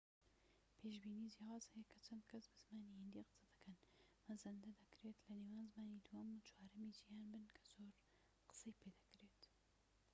پێشبینی جیاواز هەیە کە چەند کەس بە زمانی هیندی قسە دەکەن مەزەندە دەکرێت لە نێوان زمانی دووەم و چوارەمی جیھان بن کە زۆر قسەی پێدەکرێت